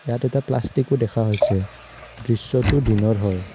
ইয়াত এটা প্লাষ্টিকো দেখা হৈছে দৃশ্যটো দিনৰ হয়।